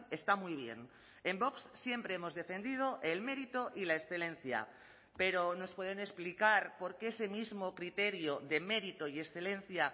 está muy bien en vox siempre hemos defendido el mérito y la excelencia pero nos pueden explicar por qué ese mismo criterio de mérito y excelencia